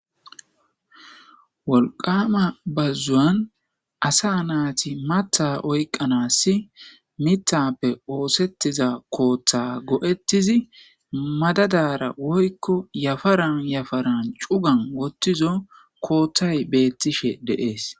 Woliqqama bazawan asa natiy matha oyiqanas mithape osetiza kotha go'etidi madadara woyiko yaparan yaparan cugan wothizo kothay betishe de'es